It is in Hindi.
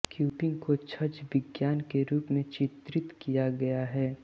क्यूपिंग को छद्म विज्ञान के रूप में चित्रित किया गया है